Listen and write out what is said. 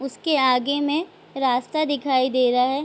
उसके आगे में रास्ता दिखाई दे रहा है।